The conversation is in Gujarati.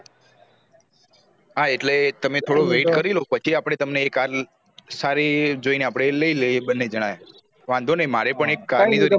હા એટલે તમે થોડો wait કરી લો પછી આપડે તમને એ car સારી જોયી ને લાયી લયીયે આપળે બન્ને જણાય વાંધો નહિ મારે પણ એજ car